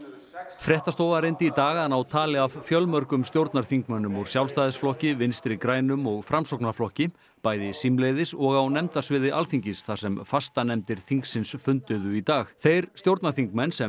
fréttastofa reyndi í dag að ná tali af fjölmörgum stjórnarþingmönnum úr Sjálfstæðisflokki Vinstri grænum og Framsóknarflokki bæði símleiðis og á nefndarsviði Alþingis þar sem fastanefndir þingsins funduðu í dag þeir stjórnarþingmenn sem